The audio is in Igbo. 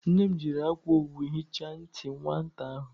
Nne m jiri akwa owu hichaa ntị nwata ahụ.